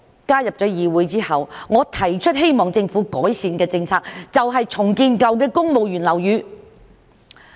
加入議會之後，我提出希望政府改善的第一個政策，就是重建舊的公務員樓宇。